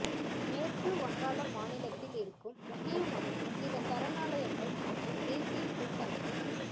மேற்கு வங்காளம் மாநிலத்தில் இருக்கும் முக்கியமான சில சரணாலயங்கள் மற்றும் தேசீயப் பூங்காக்கள்